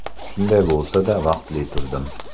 Shunday bo‘lsa-da, vaqtli turdim.